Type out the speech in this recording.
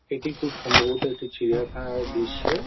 এটি খুব সম্ভবত একটি চিড়িয়াখানার দৃশ্য।